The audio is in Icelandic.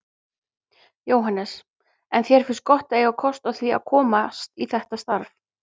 Jóhannes: En þér finnst gott að eiga kost á því að komast í þetta starf?